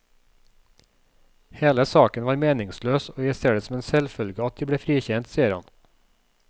Hele saken var meningsløs og jeg ser det som en selvfølge at jeg ble frikjent, sier han.